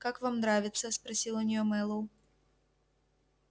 как вам нравится спросил у неё мэллоу